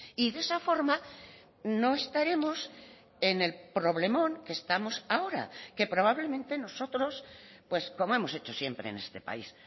y de esa forma no estaremos en el problemón que estamos ahora que probablemente nosotros pues como hemos hecho siempre en este país